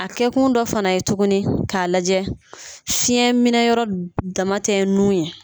A kɛ kun dɔ fana ye tuguni k'a lajɛ fiyɛn minɛ yɔrɔ dama tɛ nun ye.